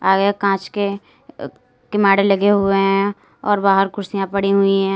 आगे कांच के अ किमाड लगे हुएं हैं और बाहर कुर्सियां पड़ी हुई हैं।